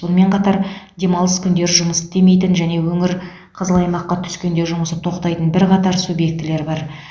сонымен қатар демалыс күндері жұмыс істемейтін және өңір қызыл аймаққа түскенде жұмысы тоқтайтын бірқатар субъектілер бар